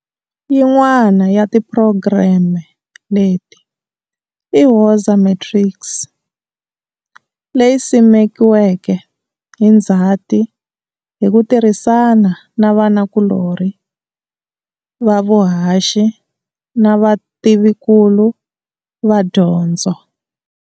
Yin'wana ya tiphurogireme leti i Woza Matrics, leyi simekiweke hi Ndzhati hi ku tirhisana na vanakulorhi va vuhaxi na vativinkulu va dyondzo.